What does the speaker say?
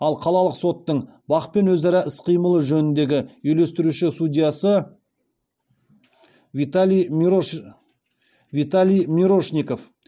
ал қалалық соттың бақ пен өзара іс қимыл жөніндегі үйлестіруші судьясы виталий мирошников